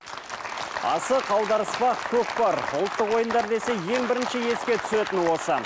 асық аударыспақ көкпар ұлттық ойындар десе ең бірінші еске түсетіні осы